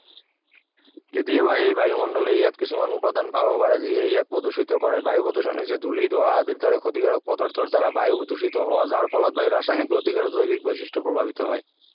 কেতিয়াবা এই বায়ুমণ্ডলে ইয়াত কিছুমান উপাদান পাব পাৰে যিয়ে ইয়াক প্ৰদূষিত কৰে বায়ু প্ৰদূষণ হৈছে ধূলি ধোৱা আদিৰ দৰে ক্ষতিকাৰক পদাৰ্থৰ দ্বাৰা বায়ু প্ৰদূষিত হোৱা যাৰ ফলত বায়ুৰ ৰাসায়নিক ভৌতিক আৰু জৈৱিক বৈশিষ্ট প্ৰভাৱিত হয়